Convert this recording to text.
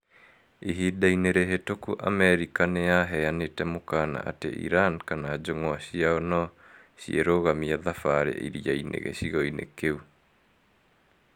Ihinda-inĩ rĩhĩtũku, Amerika nĩ yaheanĩte mũkaana atĩ Iran kana njũng'wa ciacio no cirũgamia thafari iria-inĩ gĩcĩgo-ĩnĩ kĩu